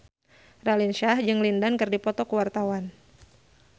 Raline Shah jeung Lin Dan keur dipoto ku wartawan